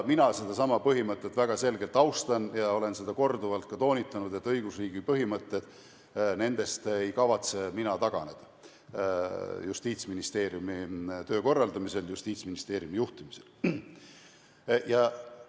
Sedasama põhimõtet mina väga selgelt austan ja olen seda korduvalt ka toonitanud, et õigusriigi põhimõtetest ei kavatse mina Justiitsministeeriumi töö korraldamisel ja ministeeriumi juhtimisel taganeda.